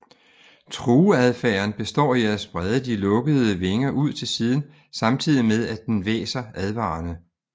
Trueadfærden består i at sprede de lukkede vinger ud til siden samtidigt med at den hvæser advarende